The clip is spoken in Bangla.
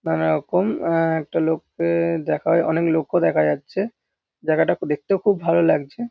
নানারকম আহ একটা লোককে-এ দেখা অনেক লোকও দেখা যাচ্ছে। জায়গাটা দেখতেও খুব ভালো লাগছে।